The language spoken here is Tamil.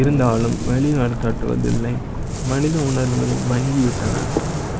இருந்தாலும் வெளிநாடு காட்டுவதில்லை மனித உணர்வுகள் மங்கிவிட்டன